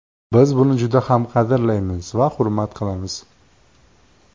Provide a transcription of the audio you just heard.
Biz buni juda ham qadrlaymiz va hurmat qilamiz.